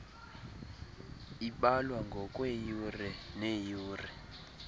ibalwa ngokweyure neyure